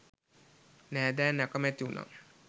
නෑදැයින් අකමැති වුණා.